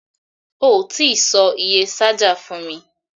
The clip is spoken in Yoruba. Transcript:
O tí sọ iye ṣájà fún mi.